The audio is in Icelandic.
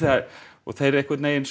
og þeir einhvern veginn